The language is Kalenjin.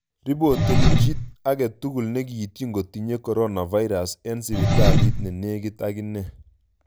Ripoten chii agetugul ne kiityin kotinye coronavirus en sipitalit ne negit aginyee